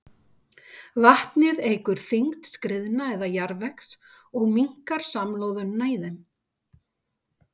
Vatnið eykur þyngd skriðna eða jarðvegs og minnkar samloðunina í þeim.